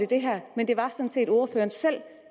det her men det var sådan set ordføreren selv